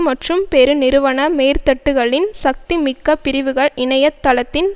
மற்றும் பெருநிறுவன மேற்தட்டுக்களின் சக்திமிக்க பிரிவுகள் இணைய தளத்தின்